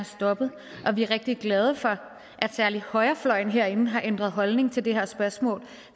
stoppet og vi er rigtig glade for at særlig højrefløjen herinde har ændret holdning til det her spørgsmål